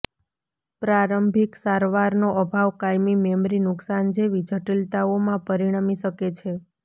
પ્રારંભિક સારવારનો અભાવ કાયમી મેમરી નુકશાન જેવી જટિલતાઓમાં પરિણમી શકે છે